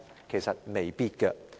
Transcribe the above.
其實未必。